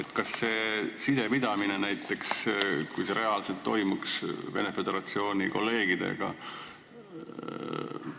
Kuidas on selle sidepidamisega näiteks siis, kui see toimuks reaalselt Venemaa Föderatsiooni kolleegidega?